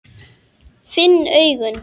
Finn augun.